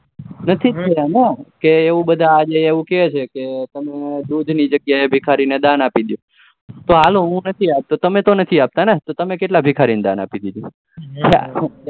નથી થયા ને કે બધા આજે એવું કહે છે તમે દૂધની જગ્યાએ ભિખારીને દાન આપી દો તો હાલો હું નથી આપતો તમે તો નથી આપતા ને તમે કેટલા ભિખારીને દાન આપી દીધું